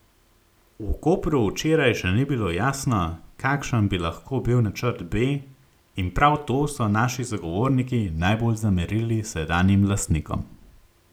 V Kopru včeraj še ni bilo jasno, kakšen bi lahko bil načrt B in prav to so naši sogovorniki najbolj zamerili sedanjim lastnikom.